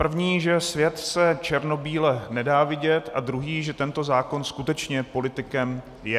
První, že svět se černobíle nedá vidět, a druhý, že tento zákon skutečně politikem je.